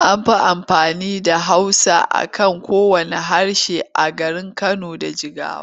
An fi amfani da Hausa a kan kowanne harshe a garin Kano da Jigawa.